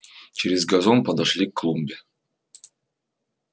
через газон подошли к клумбе